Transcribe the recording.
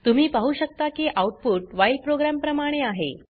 तुम्ही पाहु शकता की आउटपुट व्हाईल प्रोग्राम प्रमाणे आहे